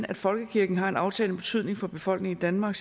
at folkekirken har en aftagende betydning for befolkningen i danmark